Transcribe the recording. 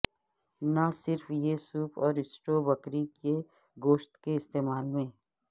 نہ صرف یہ سوپ اور سٹو بکری کے گوشت کے استعمال میں